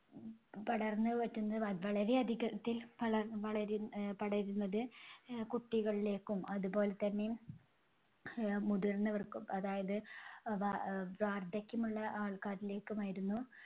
പടർന്ന് വരുന്ന് വ~വളരെ അധികത്തിൽ വളര് അഹ് പടരുന്നത് അഹ് കുട്ടികളിലേക്കും അതുപോലെതന്നെ അഹ് മുതിർന്നവർക്കും അതായത് വാ~വാർദ്ധക്യമുള്ള ആൾക്കാരിലേക്കുമായിരുന്നു.